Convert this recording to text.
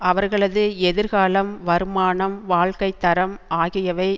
அவர்களது எதிர்காலம் வருமானம் வாழ்க்கை தரம் ஆகியவை